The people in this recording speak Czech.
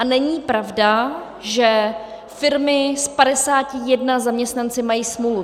A není pravda, že firmy s 51 zaměstnanci mají smůlu.